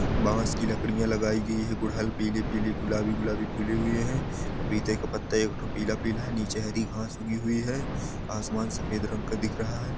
बांस की लकड़ियां लगाई गई है पीली-पीली गुलाबी- गुलाबी फूली हुई है पपीते का पत्ता एकठो पीला- पीला है नीचे हरी घास उगी हुई है आसमान सफ़ेद रंग का दिख रहा है ।